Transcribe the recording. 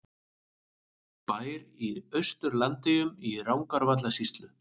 Bær í Austur-Landeyjum í Rangárvallasýslu.